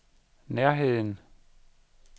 nærheden